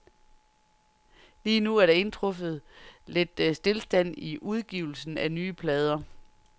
Lige nu er der indtruffet lidt stilstand i udgivelsen af nye plader.